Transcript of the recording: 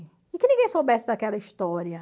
E que ninguém soubesse daquela história.